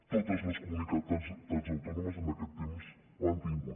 totes les comunitats autònomes en aquest temps n’han tingut